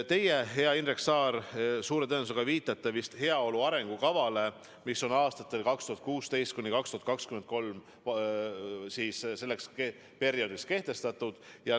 Teie, hea Indrek Saar, suure tõenäosusega viitate heaolu arengukavale, mis on kehtestatud aastateks 2016–2023.